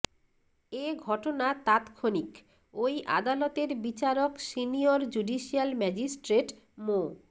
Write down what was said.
এ ঘটনা তাৎক্ষনিক ওই আদালতের বিচারক সিনিয়র জুডিশিয়াল ম্যাজিস্ট্রেট মো